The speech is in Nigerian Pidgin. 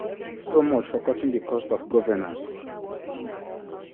so much for cutting di cost of governance